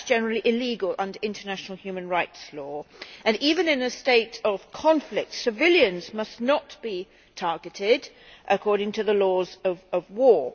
That is generally illegal under international human rights law and, even in a state of conflict, civilians must not be targeted according to the laws of war.